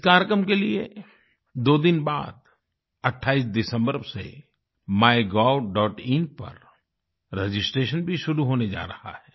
इस कार्यक्रम के लिए दो दिन बाद 28 दिसंबर से MyGovइन पर रजिस्ट्रेशन भी शुरू होने जा रहा है